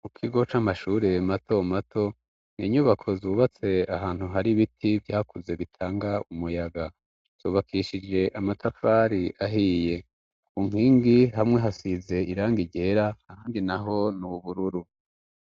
Mu kigo c'amashurire mato mato mwinyubako zubatse ahantu hari ibiti vyakuze bitanga umuyaga subakishije amatafari ahiye ku nkingi hamwe hasize iranga rera handi na ho ni ubururu